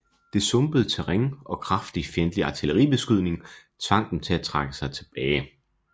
Det sumpede terræn og kraftig fjendtlig artilleribeskydning tvang dem til at trække sig tilbage